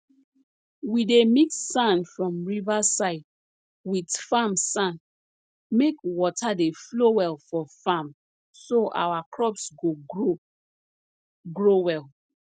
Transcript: we dey mix sand from riverside wit farm sand make water dey flow well for farm so our crops go grow grow well